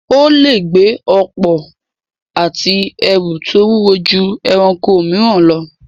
Ó lè gbé ọ̀pọ̀ ati ẹrù tó wúwo ju ẹranko mìíràn lọ.